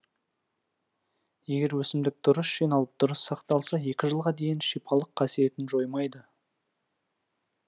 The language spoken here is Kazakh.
егер өсімдік дұрыс жиналып дұрыс сақталса екі жылға дейін шипалық қасиетін жоймайды